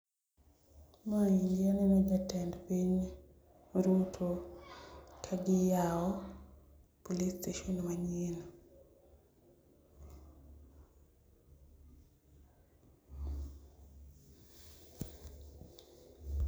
Maendi aneno jatend piny Ruto kagiyao police station manyien.